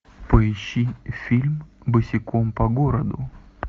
поищи фильм босиком по городу